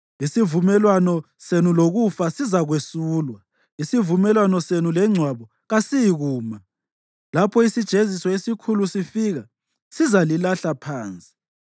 Isivumelwano senu lokufa sizakwesulwa; isivumelwano senu lengcwaba kasiyikuma. Lapho isijeziso esikhulu sifika sizalilahla phansi.